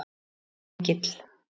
Engill